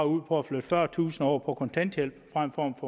ud på at flytte fyrretusind over på kontanthjælp frem for at